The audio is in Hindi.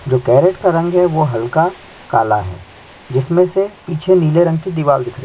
जो कर्रेंट का रंग है वो हल्का काला है जिसमे से पीछे नीले रंग की दीवाल दिख री--